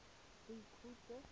boikhutso